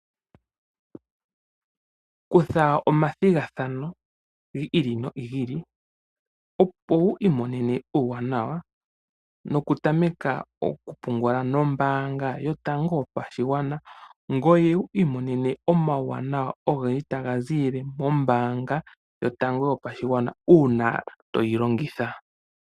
Kutha omathigathano gi ili nogi ili opo wu imonene uuwanawa noku tameka oku pungula nombanga yotango yoshigwana. Ngoye wu imonene omawanawa ogendji taga zi ili mombanga yotango yopashigwana una toyi longitha.